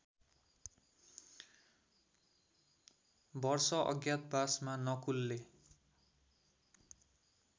वर्ष अज्ञातवासमा नकुलले